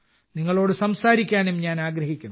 നിങ്ങളോട് സംസാരിക്കാനും ഞാൻ ആഗ്രഹിക്കുന്നു